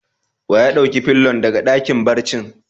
Wa ya dauki fillon daga dakin barci?